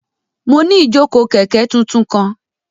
Mo ni ijoko kẹ̀ké tuntun kan